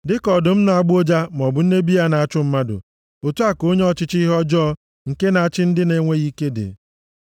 Dịka ọdụm na-agbọ ụja maọbụ nne bịa na-achụ mmadụ otu a ka onye ọchịchị ọjọọ nke na-achị ndị na-enweghị ike dị.